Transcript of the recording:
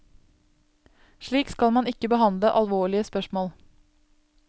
Slik skal man ikke behandle alvorlige spørsmål.